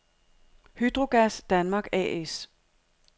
Hydrogas Danmark A/S